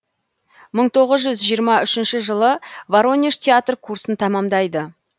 мың тоғыз жүз жиырма үшінші жылы воронеж театр курсын тәмамдайды